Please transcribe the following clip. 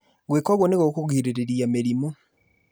Gwĩka ũguo nĩgũkũgirĩrĩria mĩrimũ